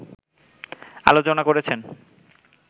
আলোচনা করেছেন